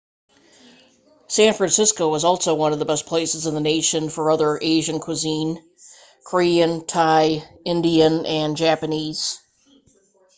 san francisco is also one of the best places in the nation for other asian cuisine korean thai indian and japanese